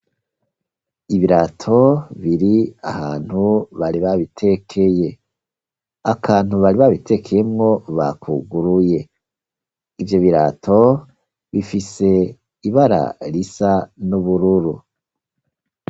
Ibirato biri ahantu bari babitekeye, akantu bari babitekeyemwo bakuguruye ivyo birato bifise ibara risa n'ubururu.